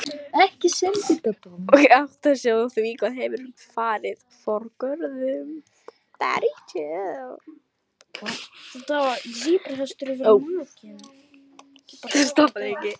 Og áttar sig á því hvað hefur farið forgörðum.